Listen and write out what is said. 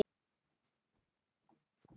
Enginn trúði honum.